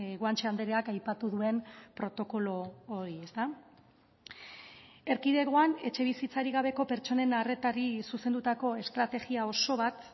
guanche andreak aipatu duen protokolo hori ezta erkidegoan etxebizitzarik gabeko pertsonen arretari zuzendutako estrategia oso bat